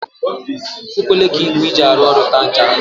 E kwekwele ka igwe i ji arụ ọrụ taa nchara.